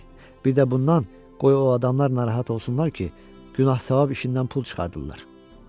Bir də bundan qoy o adamlar narahat olsunlar ki, günah-savab işindən pul çıxardırlar.